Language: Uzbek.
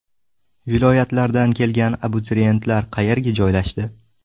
Viloyatlardan kelgan abituriyentlar qayerga joylashdi?